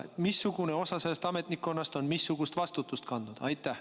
Missugune osa sellest ametnikkonnast on missugust vastutust kandnud?